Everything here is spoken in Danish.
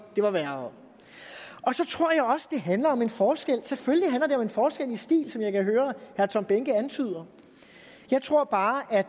det var værre så tror jeg også at det handler om en forskel selvfølgelig handler det om en forskel i stil som jeg kan høre herre tom behnke antyder jeg tror bare at